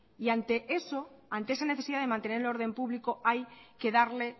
y ante eso ante esa necesidad de mantener el orden público hay que darle